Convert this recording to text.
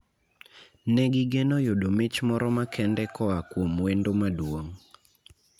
Ne gigeno yudo mich moro makende koa kuom wendo maduong'.